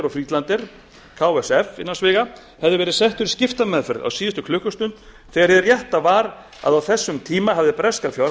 singer og friedlander hefði verið settur í skiptameðferð á síðustu klukkustund þegar hið rétta var að á þessum tíma hafði breska